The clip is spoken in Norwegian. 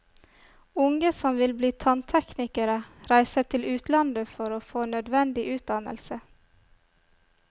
Unge som vil bli tannteknikere reiser til utlandet for å få nødvendig utdannelse.